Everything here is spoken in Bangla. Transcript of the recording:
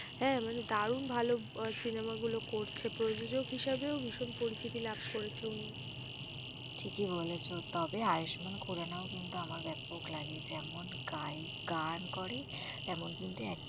হ্যাঁ মানে দারুন ভালো বই cinema গুলো করছে। প্রযোজক হিসাবেও ভীষণ পরিচিতি লাভ করেছে উনি। ঠিকই বলেছ, তবে আয়ুষ্মান খুরানা ও কিন্তু আমার ব্যাপক লাগে যেমন গায় গান করে, তেমন কিন্তু